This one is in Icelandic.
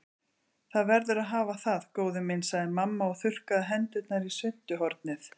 Það verður að hafa það, góði minn sagði mamma og þurrkaði hendurnar í svuntuhornið.